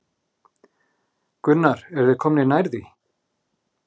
Gunnar: Eru þeir komnir nær því?